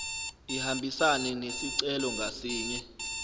ihambisane nesicelo ngasinye